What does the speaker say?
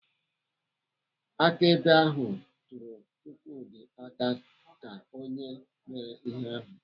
Akaebe ahụ tụrụ Chukwudi aka ka onye mere ihe ahụ.